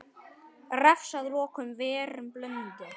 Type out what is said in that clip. Refs að loknum værum blundi.